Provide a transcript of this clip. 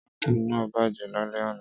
Ápù náà bàjẹ́ lálẹ́ àná.